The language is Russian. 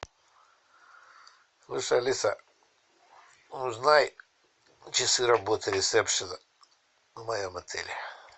слушай алиса узнай часы работы ресепшена в моем отеле